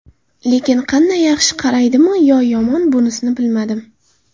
Lekin qanday yaxshi qaraydimi yo yomon bunisini bilmadim.